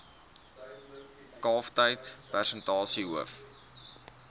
kalftyd persentasie hoof